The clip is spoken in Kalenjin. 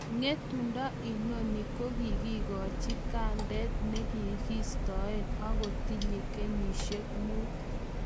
Ngetundo inano kokakikachi gandet Nosikitok akotinye kenyishek Mut